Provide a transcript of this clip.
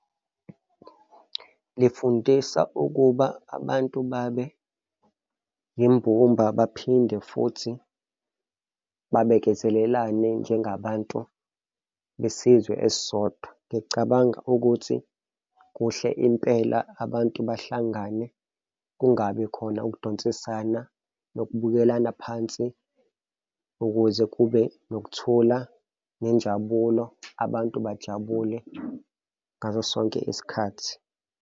Lifundisa ukuba abantu babe imbumba baphinde futhi babekezelelane njengabantu besizwe esisodwa. Ngicabanga ukuthi kuhle impela, abantu bahlangane kungabi khona ukudonsisana nokubukelana phansi ukuze kube nokuthula nenjabulo abantu bajabule ngaso sonke isikhathi.